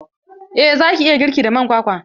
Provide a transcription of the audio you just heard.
Eh za ki iya girki da man kwakwa.